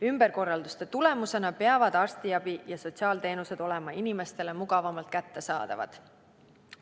Ümberkorralduste tulemusena peavad arstiabi ja sotsiaalteenused olema inimestele mugavamalt kättesaadavad.